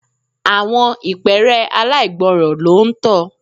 Àwọn ìpẹ́ẹ́rẹ́ aláìgbọ́ràn ló ń tọ.